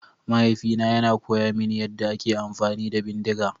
Mahaifina yana koya mini yadda ake amfani da bindiga.